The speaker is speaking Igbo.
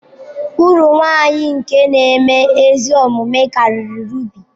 Uru nwanyi nke nēme ezi omume kariri rubi.